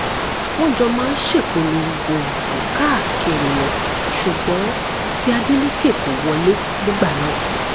wọ́n jọ máa ń ṣèpolongo ìbò káàkiri ni ṣùgbọ́n tí adeleke kò wọlé nígbà náà